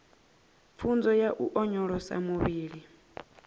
pfunzo ya u onyolosa muvhili